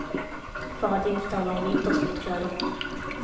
För att inte tala om vintersportkläder.